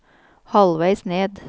halvveis ned